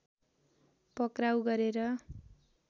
पक्राउ गरेर